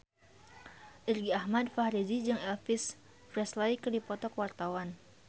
Irgi Ahmad Fahrezi jeung Elvis Presley keur dipoto ku wartawan